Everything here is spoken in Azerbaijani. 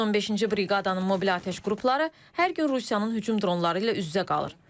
115-ci briqadanın mobil atəş qrupları hər gün Rusiyanın hücum dronları ilə üz-üzə qalır.